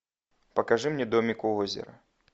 покажи мне домик у озера